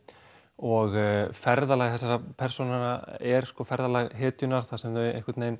og ferðalag þessara persóna er ferðalag hetjunnar þar sem þau einhvern veginn